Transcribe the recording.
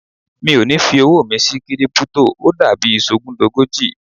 Mi ò ní fi owó mi sí Kírípútò, ó dàbí sọgúndogójì.